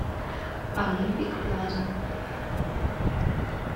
олимпик плаза